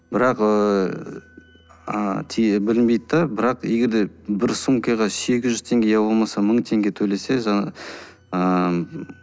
бірақ ыыы білінбейді де ыыы бірақ егер де бір сумкаға сегіз жүз теңге иә болмаса мың теңге төлесе жаңағы ааа